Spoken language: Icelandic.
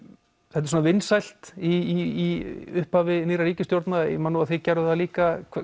þetta er svona vinsælt í upphafi nýrrar ríkisstjórnar ég man nú að þið gerðuð það líka